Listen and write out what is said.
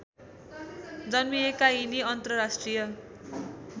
जन्मिएका यिनी अन्तर्राष्ट्रिय